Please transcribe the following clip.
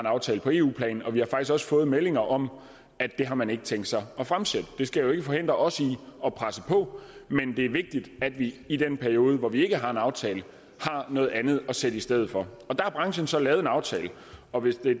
en aftale på eu plan og vi har faktisk også fået meldinger om at det har man ikke tænkt sig at fremsætte det skal jo ikke forhindre os i at presse på men det er vigtigt at vi i den periode hvor vi ikke har en aftale har noget andet at sætte i stedet for og der har branchen så lavet en aftale og hvis det